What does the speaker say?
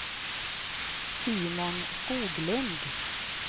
Simon Skoglund